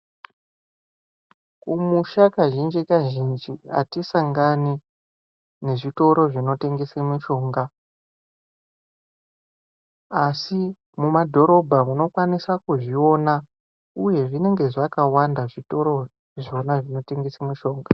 Kumusha kazhinji kazhinji atisangani nezvitoro zvinotengese mishonga asi mumadhorobha unokwanisa kuzviona uye zvinonga zvakawanda zvitoro zvona zvinotengesa mushonga.